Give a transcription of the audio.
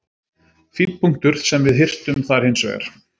Fínn punktur sem við hirtum þar hins vegar.